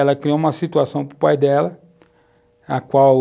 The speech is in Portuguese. Ela criou uma situação para o pai dela, a qual...